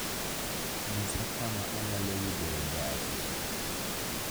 nyisa kama anyalo yudoe gari